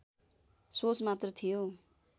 सोच मात्र थियो